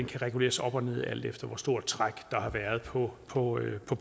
kan reguleres op og ned alt efter hvor stort et træk der har været på på